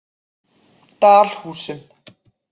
Dalhúsum